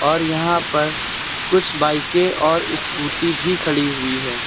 और यहां पर कुछ बाईकें और स्कूटी भी खड़ी हुई हैं।